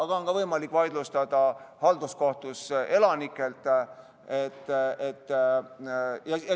Aga on võimalik vaidlustada halduskohtus ka elanikel.